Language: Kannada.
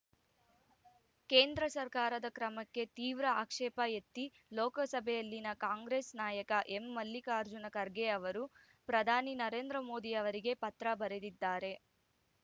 ಕೇಂದ್ರ ಸರ್ಕಾರದ ಕ್ರಮಕ್ಕೆ ತೀವ್ರ ಆಕ್ಷೇಪ ಎತ್ತಿ ಲೋಕಸಭೆಯಲ್ಲಿನ ಕಾಂಗ್ರೆಸ್‌ ನಾಯಕ ಎಂ ಮಲ್ಲಿಕಾರ್ಜುನ ಖರ್ಗೆ ಅವರು ಪ್ರಧಾನಿ ನರೇಂದ್ರ ಮೋದಿ ಅವರಿಗೆ ಪತ್ರ ಬರೆದಿದ್ದಾರೆ